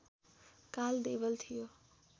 काल देवल थियो